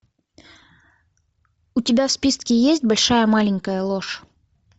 у тебя в списке есть большая маленькая ложь